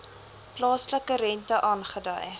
plaaslike rente aangedui